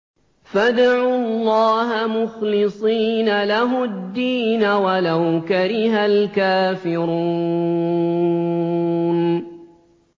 فَادْعُوا اللَّهَ مُخْلِصِينَ لَهُ الدِّينَ وَلَوْ كَرِهَ الْكَافِرُونَ